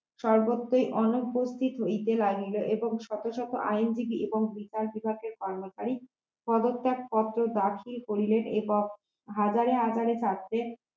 সর্বত্রই অনুপস্থিত হইতে লাগলেন এবং শত শত আইনজীবী এবং বিচার বিভাগের কর্মচারী পদত্যাগ পত্র দাখিল করিলেন এবং হাজারে হাজারে ছাত্রের